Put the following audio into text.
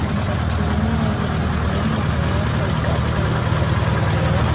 அந்த ட்ரெயின்ல இருந்து நெறையா பொக போய்ட்ருக்குது.